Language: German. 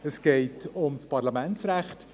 Es geht um das Parlamentsrecht.